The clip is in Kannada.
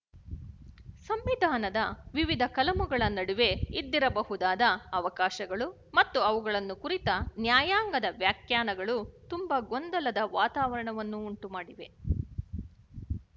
ಸಂವಿಧಾನದ ವಿವಿಧ ಕಲಮುಗಳ ನಡುವೆ ಇದ್ದಿರಬಹುದಾದ ಅವಕಾಶಗಳು ಮತ್ತು ಅವುಗಳನ್ನು ಕುರಿತ ನ್ಯಾಯಾಂಗದ ವ್ಯಾಖ್ಯಾನಗಳು ತುಂಬ ಗೊಂದಲದ ವಾತಾವರಣವನ್ನು ಉಂಟುಮಾಡಿವೆ